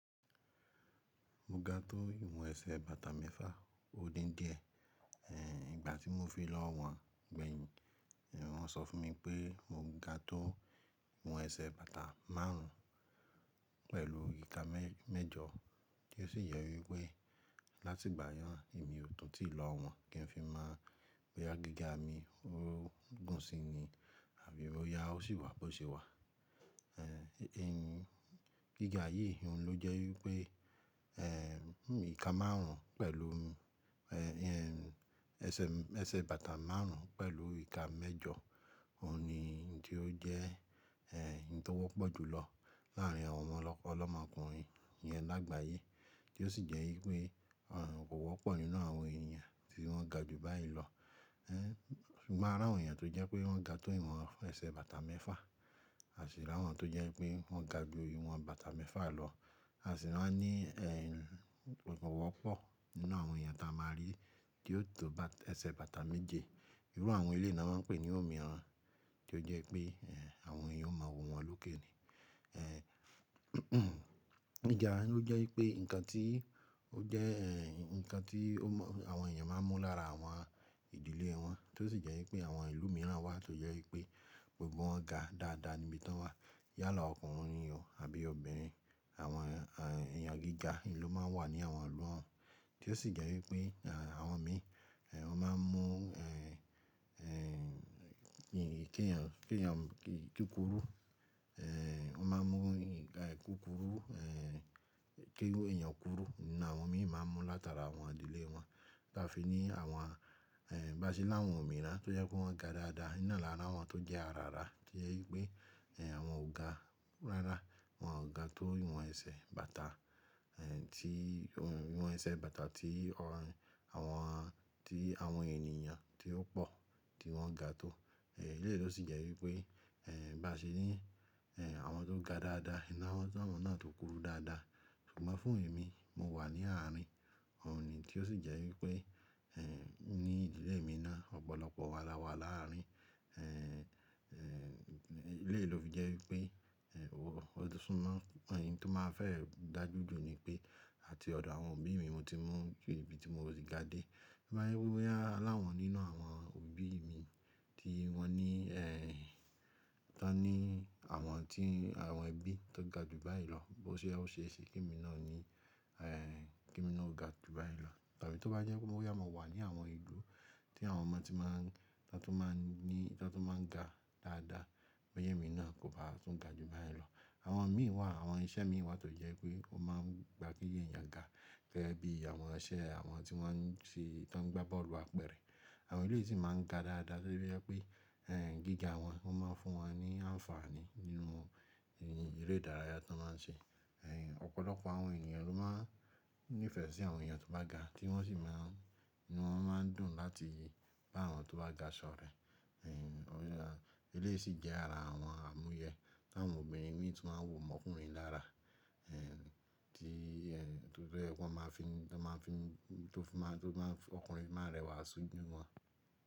Mo ga tó ìwọn ẹsẹ̀ bàtà mẹ́fà odindi ẹ, ìgbà tí mo fi lọ́wọn gbẹ̀yìn, wọ́n sọ fún mi pé mo ga tó ìwọn ẹsẹ̀ bàtà márùn ún pẹ̀lú ìka mẹ́jọ, tí ó sì yẹ wípẹ́ láti ìgbà náà èmi ò tọ́ tí ìlọ́wọn kí n fi máa mọ pé gíga mi ó gùn si ni àbí ó yá, ó sì wà bó ṣe wà. Ẹ̀yin gíga yìí òun ló jẹ́ wípẹ́, ẹ̀ ìka márùn ún pẹ̀lú ẹ́, ẹsẹ̀ bàtà márùn ún pẹ̀lú ìka mẹ́jọ, òun ni tó jẹ́ ẹ́, ohun tó wọ́pọ̀ jùlọ láàárín àwọn ọlọ́mọkùnrin yẹn lágbàáyé. Tí ó sì jẹ́ wípẹ́ àrùn kò wọ́pọ̀ nínú àwọn ènìyàn tí wọ́n ga jù báyìí lọ. Ẹ̀, ṣùgbọ́n àràwọn ènìyàn tó jẹ́ pé wọ́n ga tó ìwọn ẹsẹ̀ bàtà mẹ́fà, àṣìlẹ̀ àwọn tó jẹ́ pé wọ́n ga jù ìwọn bàtà mẹ́fà lọ, à sì máa ní ẹ̀, kò wọ́pọ̀ nínú àwọn ènìyàn tí a máa rí tí ó tó ẹsẹ̀ bàtà méje. Irú àwọn ilé náà wọ́n ń pè ní òmìrán, tí ó jẹ́ pé àwọn ènìyàn ó mọ wò wọ́n lókè ni. Ẹ̀, gíga ló jẹ́ wípẹ́ ǹkan tí ó jẹ́ ẹ̀, ǹkan tí ọmọ àwọn ènìyàn máa ń mú lára àwọn ìdílé wọn, tí ó sì jẹ́ wípẹ́ àwọn ìlú mìíràn wà tó jẹ́ wípẹ́ gbogbo wọn ga dáadáa níbi tí wọ́n wà. Yálà ọkùnrin ni ọ̀hún àbí obìnrin, àwọn ènìyàn gíga ni ló máa ń wà ní àwọn ọlọ́ wọn. Tí ó sì jẹ́ wípẹ́ àwọn mi, wọ́n máa ń mú ẹ̀, Ẹ̀, ṣùgbọ́n àràwọn ènìyàn tó jẹ́ pé wọ́n ga tó ìwọn ẹsẹ̀ bàtà mẹ́fà, àṣìlẹ̀ àwọn tó jẹ́ pé wọ́n ga jù ìwọn bàtà mẹ́fà lọ, à sì máa ní ẹ̀, kò wọ́pọ̀ nínú àwọn ènìyàn tí a máa rí tí ó tó ẹsẹ̀ bàtà méje. Bí a fi ní àwọn ẹ̀, bá ṣe láwọn òmíràn tó jẹ́ pé wọ́n ga dáadáa nínà lára àwọn tó jẹ́ arara, tí ó jẹ́ wípẹ́ ẹ̀ àwọn ò ga rárá, wọ́n ò ga tó ìwọn ẹsẹ̀ bàtà ẹ̀ tí, ìwọn ẹsẹ̀ bàtà tí àwọn, tí àwọn ènìyàn tí ó pò tí wọ́n ga tó. Ẹ̀, eléyìí ló sì jẹ́ wípẹ́ ẹ̀ bá ṣe ní ẹ̀ àwọn tó ga dáadáa nínà wọ́n náà tó kúrú dáadáa. Ṣùgbọ́n fún èmi mo wà ní àárín wọn ni tí ó sì jẹ́ wípe ẹ̀ ní ìdílé mi náà ọ̀pọ̀lọpọ̀ wa lára wa láàárín. Ẹ̀, eléyìí ló fi jẹ́ wípé ẹ̀ ó súnmọ́ ẹ̀yin tí ó máa fẹ́ dà júdù ni pé, à ti ọ̀dọ̀ àwọn òbí mi mo ti mú ju ibi tí mo ti ga dé. Mo máa rí pé aláwọ̀n nínú àwọn òbí mi tí wọ́n ní ẹ̀, tí wọ́n ní àwọn tí àwọn ẹbí tó ga jù báyìí lọ, bó ṣe ó ṣe é ṣe kí mi náà ní ẹ̀, kí mi náà ó ga jù báyìí lọ. Tabí tó bá jẹ́ pé mo yá, mo wà ní àwọn igbó tí àwọn ọmọ ti máa ń, tí wọ́n tó máa ń ní, tí wọ́n tó máa ń ga dáadáa, ọ̀yẹ́ mi náà kò ha tún ga jù báyìí lọ. Àwọn mi wà, àwọn iṣẹ́ mi wà tó jẹ́ pé wọ́n máa ń gba kí ènìyàn ga, gẹ́gẹ́ bí àwọn iṣẹ́ àwọn tí wọ́n ń ṣe, tí wọ́n ń gba bọ́ọ̀lù apẹ̀rẹ̀. Àwọn ilé yìí sì máa ń ga dáadáa torí pé ẹ̀ gíga wọn, wọ́n máa ń fún wọn ní àǹfààní nínú eré ìdárayá tí wọ́n máa ń ṣe. Ẹ̀, ọ̀pọ̀lọpọ̀ àwọn ènìyàn ló máa ń nífẹ̀ẹ́ sí àwọn ènìyàn tó bá ga tí wọ́n sì máa ń, ni wọ́n máa ń dùn láti bá àwọn tó bá ga ṣọ̀rẹ́. Ẹ̀, eléyìí sì jẹ́ ara àwọn àmúyẹ́ tí àwọn obìnrin mìíràn tó máa wò ọmọkùnrin lára, ẹ̀ tí torí pé wọ́n máa fi, tí wọ́n máa fi, tí ó fi máa, tí ó fi máa ọkùnrin máa rẹwà sú jù wọ́n.